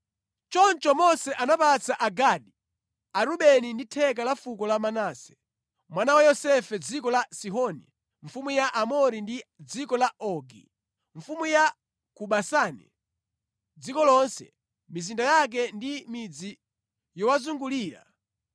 Choncho Mose anapatsa Agadi, Arubeni ndi theka la fuko la Manase mwana wa Yosefe dziko la Sihoni mfumu ya Aamori ndi dziko la Ogi, mfumu ya ku Basani, dziko lonse, mizinda yake ndi midzi yowazungulira.